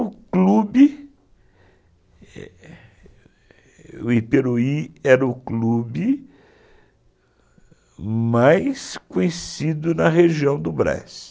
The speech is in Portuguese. O Iperuí era o clube mais conhecido na região do Braz.